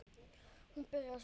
Þú byrjar svona.